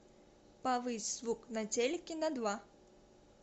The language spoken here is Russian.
повысь звук на телике на два